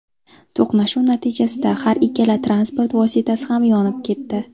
To‘qnashuv natijasida har ikkala transport vositasi ham yonib ketdi.